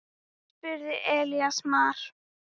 spurði Elías Mar.